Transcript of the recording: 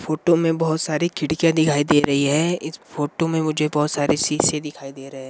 photo में बहोत सारे खिड़कियाँ दिखाई दे रही है इस फोटो में बहोत सारे सिशे दिखाई दे रहे --